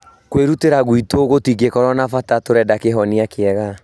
Kwĩrutĩra gwitũ gũtigũkorwo na bata, turenda kĩhonia kĩega